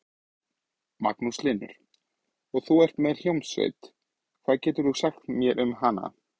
Magnús Hlynur: Og þú ert með hljómsveit, hvað getur þú sagt mér um hana?